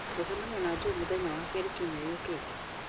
gũcemania na joe mũthenya wa kerĩ kiumia gĩũkĩte